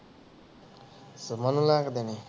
ਸਸੁਮਨ ਨੂੰ ਲਾਇ ਕ ਦੇਣੀ ਆ